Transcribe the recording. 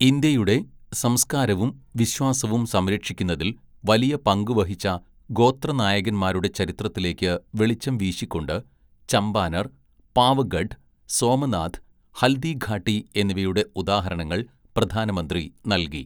ഇന്ത്യയുടെ സംസ്കാരവും വിശ്വാസവും സംരക്ഷിക്കുന്നതില്‍ വലിയ പങ്കുവഹിച്ച ഗോത്ര നായകന്മാരുടെ ചരിത്രത്തിലേക്ക് വെളിച്ചം വീശിക്കൊണ്ട് ചമ്പാനര്‍, പാവഗഢ്, സോമനാഥ്, ഹല്ദിഘാട്ടി എന്നിവയുടെ ഉദാഹരണങ്ങള്‍ പ്രധാനമന്ത്രി നൽകി.